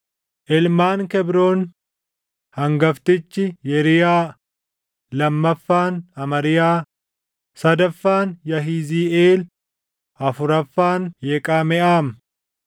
Ilmaan Kebroon; hangaftichi Yeriyaa, lammaffaan Amariyaa, sadaffaan Yahiziiʼeel, afuraffaan Yeqameʼaam.